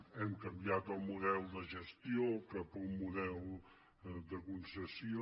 hem canviat el model de gestió cap a un model de concessió